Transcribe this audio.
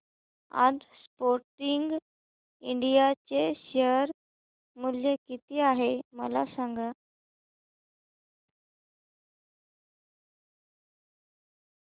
आज Sportking India चे share मूल्य किती आहे मला सांगा